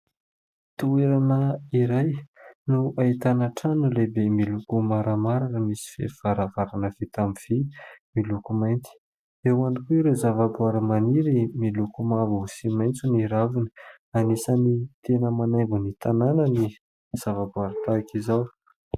Toerana iray no ahitana trano lehibe miloko maramara misy varavarava vita amin'ny vy miloko mainty, Eo ihany koa ireo zavaboary maniry miloko mavo sy maitso ny ravina. Anisany tena manaingo ny tanàna ny zavaboary tahaka izao.